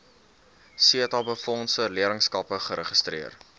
setabefondse leerlingskappe geregistreer